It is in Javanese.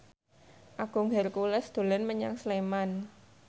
Agung Hercules dolan menyang Sleman